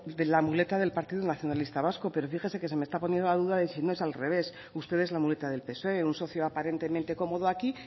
es la muleta del partido nacionalista vasco pero fíjese que se me está poniendo la duda de si no es al revés usted es la muleta del psoe un socio aparentemente cómodo aquí